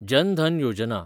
जन धन योजना